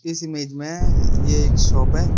इस इमेज में ये एक शॉप है।